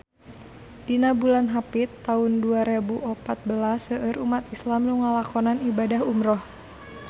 Dina bulan Hapit taun dua rebu opat belas seueur umat islam nu ngalakonan ibadah umrah